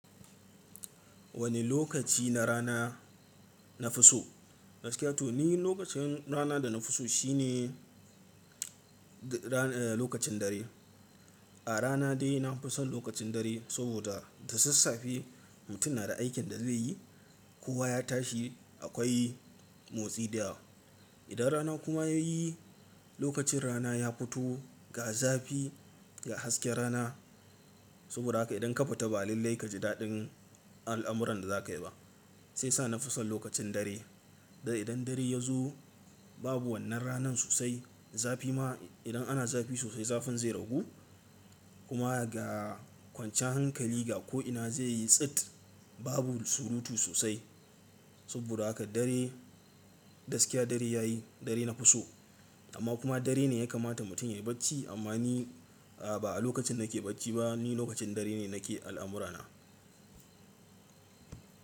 Wane lokaci na rana na fi so? Ni lokacin rana da na fi so shine lokacin dare. A rana dai na fi son lokacin dare saboda da sassafe mutum na da aikin da zai yi, kowa ya tashi akwai motsi da yawa. Idan rana kuma ya yi, lokacin rana ya fito ga zafi ga hasken rana. Saboda haka idan ka fita ba a lallai ka ji daɗin al'amuran da za ka yi ba. Sai sa na fi son lokacin dare. Da idan dare ya zo babu wannan ranan sosai. Zafi ma idan ana zafi sosai zafin zai ragu. Kuma ga kwanciyan hankali ga ko'ina zai yi tsit babu surutu sosai. Saboda haka dare gaskiya dare ya yi dare na fi so. Amma kuma dare ne ya kamata mutum ya yi bacci amma ni ba a lokacin da nake bacci ba ni lokacin dare ne nake al'amurana.